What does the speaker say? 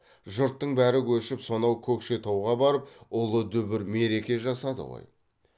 жұрттың бәрі көшіп сонау көкшетауға барып ұлы дүбір мереке жасады ғой